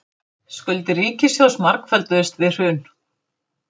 Skuldir ríkissjóðs margfölduðust við hrun